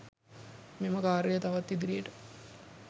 මෙම ක‍ාර්යය තවත් ඉදිරියට